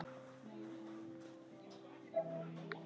Ég eldist.